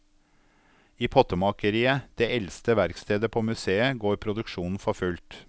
I pottemakeriet, det eldste verkstedet på museet, går produksjonen for fullt.